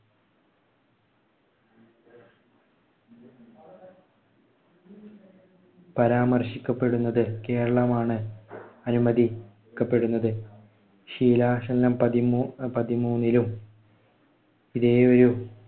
പരാമർശിക്കപ്പെടുന്നത് കേരളമാണ്. ക്കപ്പെടുന്നത്. ശീലാസനം പതിമൂന്നിലും ഇതേ ഒരു